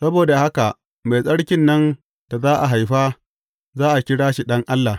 Saboda haka, Mai Tsarkin nan da za a haifa, za a kira shi Ɗan Allah.